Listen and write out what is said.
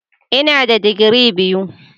Ina da digiri biyu.